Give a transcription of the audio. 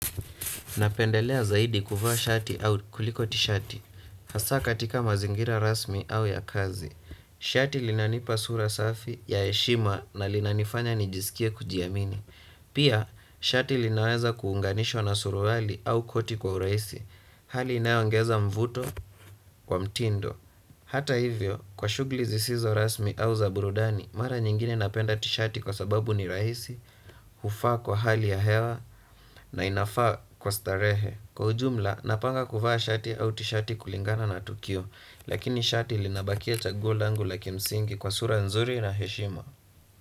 Napendelea zaidi kuvaa shati au kuliko tishati. Hasa katika mazingira rasmi au ya kazi. Shati linanipa sura safi ya heshima na linanifanya nijisikie kujiyamini. Pia, shati linaweza kuunganishwa na suruhali au koti kwa uraisi. Hali inaongeza mvuto kwa mtindo. Hata hivyo, kwa shugli zisizo rasmi au zaburudani, mara nyingine napenda tishati kwa sababu ni raisi, hufa kwa hali ya hewa na inafaa kwa starehe. Kwa ujumla, napanga kuvaa shati au tishati kulingana na tukio, lakini shati linabakia chaguo langu la kimsingi kwa sura nzuri na heshima.